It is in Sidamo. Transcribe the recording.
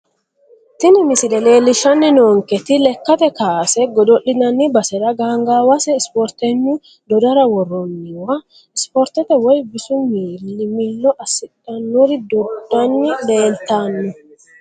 Tini misile leelishani noonketi lekate kaase godo`linani basera gangaawase isporteynu dodara woroniwa isportete woyi bisu mili milo asidhanori dodani leeltano.